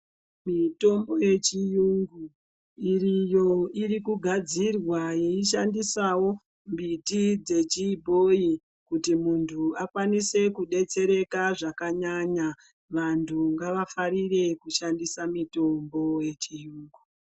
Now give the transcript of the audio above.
Mitombo yechiyungu iriyo ikugadzirwa yeishandisawo mbiti dzechibhoyi kuti munhu akwanise kudetsereka zvakanyanya. Vantu ngavafarire kushandisa mitombo yechiyungu.